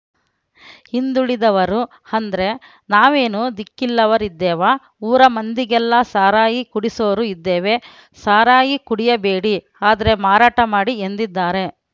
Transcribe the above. ಹಿಂದುಳಿದವರು ಅಂದ್ರೆ ನಾವೇನು ದಿಕ್ಕಿಲ್ಲವರಿದ್ದೇವಾ ಊರ ಮಂದಿಗೆಲ್ಲ ಸಾರಾಯಿ ಕುಡಿಸೋರು ಇದ್ದೇವೆ ಸಾರಾಯಿ ಕುಡಿಯಬೇಡಿ ಆದ್ರೆ ಮಾರಾಟ ಮಾಡಿ ಎಂದಿದ್ದಾರೆ